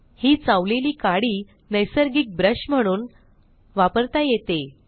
ही चावलेली काडी नैसर्गिक ब्रश म्हणून वापरता येते